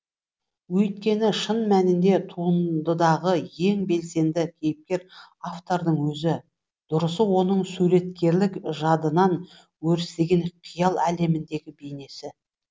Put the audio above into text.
өйткені шын мәнінде туындыдағы ең белсенді кейіпкер автордың өзі дұрысы оның суреткерлік жадынан өрістеген қиял әлеміндегі бейнесі